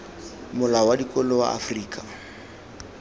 molao wa dikolo wa afrika